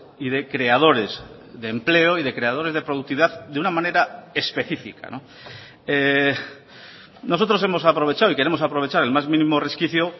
y de creadores de empleo y de creadores de productividad de una manera específica nosotros hemos aprovechado y queremos aprovechar el más mínimo resquicio